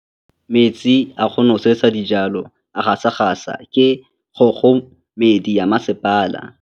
Metsi a go nosetsa dijalo a gasa gasa ke kgogomedi ya masepala.